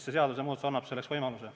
See seadusmuudatus annab selleks võimaluse.